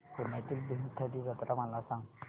पुण्यातील भीमथडी जत्रा मला सांग